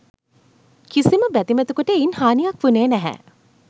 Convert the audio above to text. කිසිම බැතිමතෙකුට එයින් හානියක් වුණේ නැහැ.